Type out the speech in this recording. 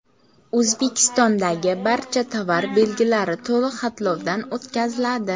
O‘zbekistondagi barcha tovar belgilari to‘liq xatlovdan o‘tkaziladi.